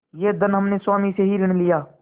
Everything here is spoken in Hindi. यह धन हमने स्वामी ही से ऋण लिया